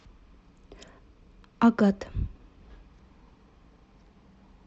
агат